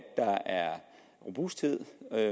robusthed